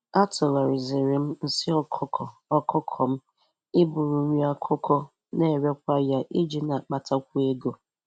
Atụgharịziri m nsị ọkụkọ ọkụkọ m ịbụrụ nri akụkụ na-erekwa ya iji na-akpatakwu ego.